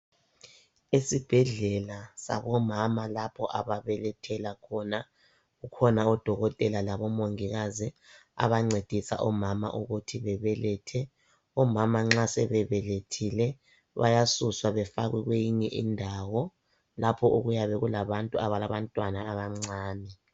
Esibhedlela sabomama lapho ababelethela khona .Kukhona odokotela labo mongikazi abancedisa omama ukuthi bebelethe .Omama nxa sebe belethile bayasuswa befakwe kweyinye indawo lapho okuyabe kulabantu abalabantwana abancane .